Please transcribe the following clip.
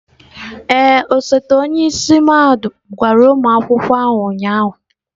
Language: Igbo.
Ee, osote onye isi mahadum gwara ụmụ akwụkwọ ahụ ụnyahụ.